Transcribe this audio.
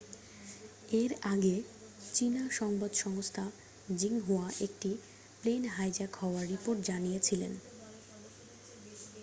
এর আগে চীনা সংবাদ সংস্থা জিংহুয়া একটি প্লেন হাইজ্যাক হওয়ার রিপোর্ট জানিয়েছিল